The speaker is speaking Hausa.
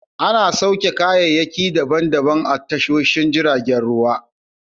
Ana sauke kayayyaki daban daban a tashoshin jiragen ruwa.